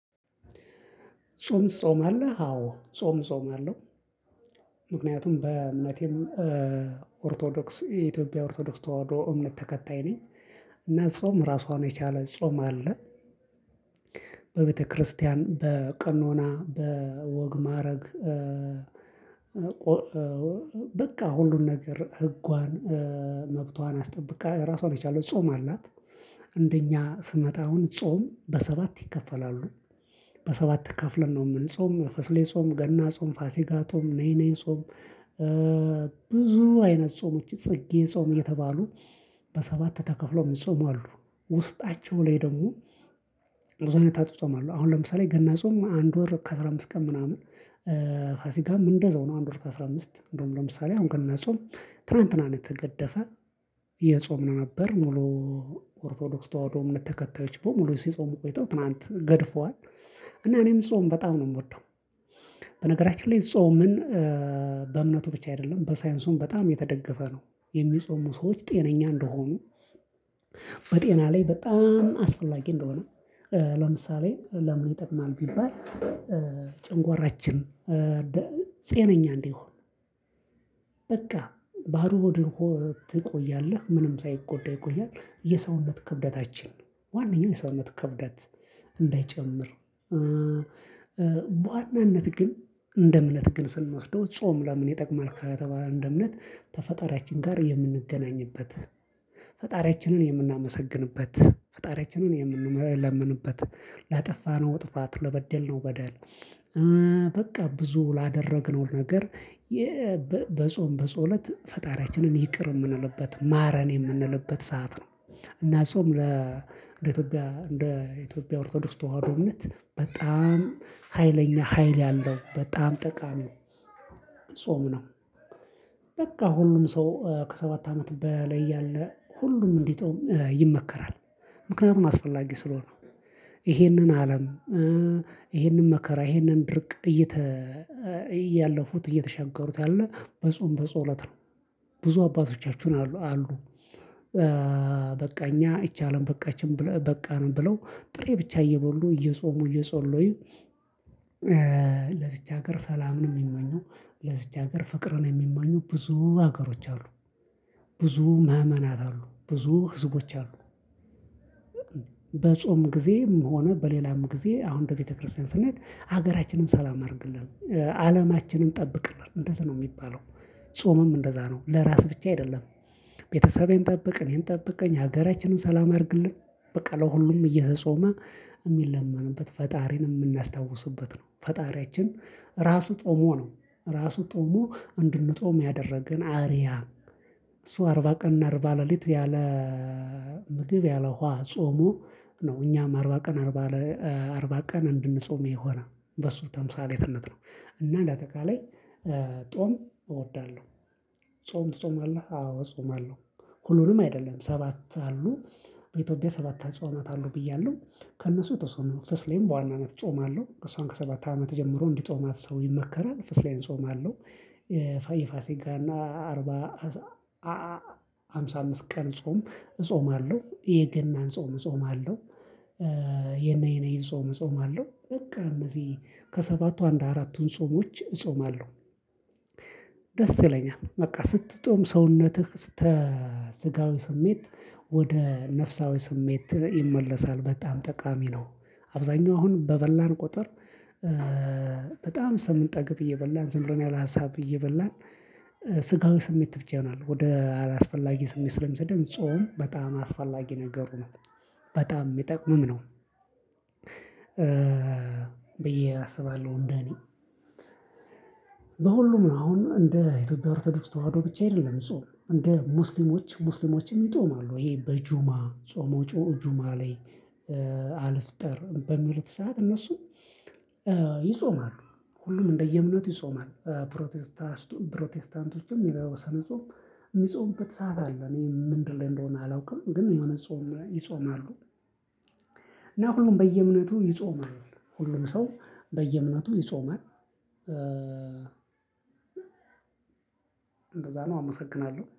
ጾም ትጾማለህ? አዎ ጾም እጾማለው ምክንያቱም በእምነቴም ኦርቶዶክስ የኢትዮጵያ ኦርቶዶክስ ተዋህዶ እምነት ተከታይ ነኝ። እና ጾም ራሷን የቻለ ጾም አለ። በቤተክርስቲያን በቀኖና በወግ ማዕረግ በቃ ሁሉን ነገር ህጓን መብቷን አስጠብቃ ራሷን የቻለው ጾም አላት። እንደኛ ስመጣ አሁን ጾም በሰባት ይከፈላሉ። በሰባት ከፍለን ነው ምንጾም ፈስሌ ጾም ገና ጾም ፋሲጋ ጾም ነይነይ ጾም። ብዙ አይነት ጾም ውጪ ጽጌ ጾም እየተባሉ በሰባት ተከፍለው ሚጾሙ አሉ። ውስጣቸው ላይ ደግሞ ብዙ አይነት አጿጿም አሉ። አሁን ለምሳሌ ገና ጾም አንድ ወር ከአስራ አምስት ቀን ምናምን። ፋሲካም እንደዛው ነው። አንድ ወር ከአስራ አምስት እንደውም ለምሳሌ አሁን ገና ጾም ትላንትና ነው የተገደፈ። እየጾምን ነበር ሙሉ ኦርቶዶክስ ተዋህዶ እምነት ተከታዮች በሙሉ ሲጾሙ ቆይተው ትላንት ገድፈዋል። እና እኔም ጾም በጣም ነው የምወደው። በነገራችን ላይ ጾምን በእምነቱ ብቻ አይደለም በሳይንሱም በጣም የተደገፈ ነው። የሚጾሙ ሰዎች ጤነኛ እንደሆኑ በጤና ላይ በጣም አስፈላጊ እንደሆነ። ለምሳሌ ለምን ይጠቅማል ቢባል። ጭንጓራችን ደ ጤነኛ እንዲሆን። በቃ ባዶ ሆድ ሆ ትቆያለህ ምንም ሳይጎዳ ይቆያል። የሰውነት ክብደታችን ነው ዋነኛው የሰውነት ክብደት እንዳይጨምር። በዋናነት ግን እንደ እምነት ግን ስንወስደው ጾም ለምን ይጠቅማል? ከተባለ እንደ እምነት ከፈጣሪያችን ጋር የምንገናኝበት ፈጣሪያችንን የምናመሰግንበት ፈጣሪያችንን የምንለምንበት ላጠፋነው ጥፋት ለበደልነው በደል። በቃ ብዙ ላደረግነው ነገር የ በ በጾም በጸሎት ፈጣሪያችንን ይቅር የምንልበት ማረን የምንልበት ሰዓት ነው። እና ጾም ለእንደ ኢትዮጵያ እንደ ኢትዮጵያ ኦርቶዶክስ ተዋህዶ እምነት በጣም ሀይለኛ ሀይል ያለው በጣም ጠቃሚ ነው። ጾም ነው። በቃ ሁሉም ሰው ከሰባት አመት በላይ ያለ ሁሉም እንዲጾም ይመከራል። ምክንያቱም አስፈላጊ ስለሆነ። ይሄንን አለም ይሄንን መከራ ይሄንን ድርቅ እየተ እያለፉት እየተሻገሩት ያለ በጾም በጸሎት ነው። ብዙ አባቶቻችሁን አሉ አሉ። በቃ እኛ እቺ አለም በቃችን ብለው በቃን ብለው ጥሬ ብቻ እየበሉ እየጾሙ እየጸሎዩ። ለዝች ሀገር ሰላምን የሚመኙ ለዚች ሀገር ፍቅርን የሚመኙ ብዙ ሀገሮች አሉ። ብዙ ምእመናት አሉ ብዙ ህዝቦች አሉ። በጾም ጊዜም ሆነ በሌላም ጊዜ አሁን ደግሞ በቤተክርስቲያን ስናይ ሀገራችንን ሰላም አድርግልን አለማችንን ጠብቅልን እንደዚ ነው የሚባለው። ጾምም እንደዛ ነው ለራስ ብቻ አይደለም። ቤተሰቤን ጠብቅ እኔን ጠብቀኝ ሀገራችንን ሰላም አድርግልን በቃ ለሁሉም እየተጾመ የሚለመንበት ፈጣሪን የምናስታውስበት ነው። ፈጣሪያችን ራሱ ጾሞ ነው። ራሱ ጾሞ እንድንጾም ያደረገን አርያ እሱ አርባ ቀንና አርባ ለሊት ያለ። ምግብ ያለ ውሃ ጾሞ ነው እኛም አርባ ቀን አርባ አርባ ቀን እንድንጾም የሆነ በሱ ተምሳሌትነት ነው። እና እንደ አጠቃላይ ጾም እወዳለሁ። ጾም ትጾማለህ? አዎ ጾማለው። ሁሉንም አይደለም ሰባት አሉ በኢትዮጵያ ሰባት አጽዋማት አሉ ብያለሁ። ከእነሱ የተወሰነውን ፍስሌን በዋናነት ጾማለሁ እሷን ከሰባት አመት ጀምሮ እንዲጾማት ሰው ይመከራል ፍስሌን ጾማለሁ። ፋይ የፋሲጋ እና አርባ አ ሃምሳ አምስት ቀን ጾም ጾማለሁ የገናን ጾም ጾማለሁ አለው። የነይ ነይን ጾም እጾማለሁ በቃ እነዚህ ከሰባቱ አንድ አራቱን ጾሞች እጾማለሁ። ደስ ይለኛል በቃ ስትጾም ሰውነትህ ስተ ስጋዊ ስሜት ወደ ነፍሳዊ ስሜት ይመለሳል በጣም ጠቃሚ ነው። አብዛኛው አሁን በበላን ቁጥር። በጣም ስንጠግብ እየበላን ዝም ብለን ያለ ሀሳብ እየበላን። ስጋዊ ስሜት ብቻ ይሆናል ወደ አላስፈላጊ ስሜት ስለሚሰደን ጾም በጣም አስፈላጊ ነገር ነው። በጣም የሚጠቅምም ነው። ብዬ አስባለሁ እንደኔ። በሁሉም ነው አሁን እንደ ኢትዮጵያ ኦርቶዶክስ ተዋህዶ ብቻ አይደለም ጾም እንደ ሙስሊሞች ሙስሊሞችም ይጾማሉ ይሄ በጁማ ጾሞ ጩ ጁማ ላይ አ አልፍጠር በሚሉት ሰዓት እነሱ ይጾማሉ። ሁሉም እንደየእምነቱ ይጾማል። ፕሮቴስታንት ፕሮቴስታንት ውስጥም የተወሰነ ጾም። የሚጾሙበት ሰዓት አለ። እኔ ምንድን ላይ እንደሆነ አላውቅም። ግን የሆነ ጾም ይጾማሉ። እና ሁሉም በየእምነቱ ይጾማል። ሁሉም ሰው በየእምነቱ ይጾማል። እንደዛ ነው አመሰግናለሁ